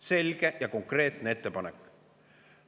Selge ja konkreetne ettepanek.